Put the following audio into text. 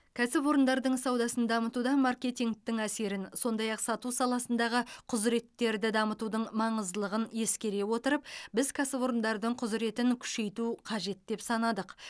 кәсіпорындардың саудасын дамытуда маркетингтің әсерін сондай ақ сату саласындағы құзыреттерді дамытудың маңыздылығын ескере отырып біз кәсіпорындардың құзыретін күшейту қажет деп санадық